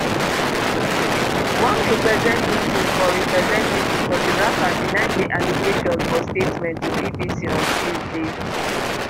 one representative for representative for di rapper deny di allegations for statement to bbc on tuesday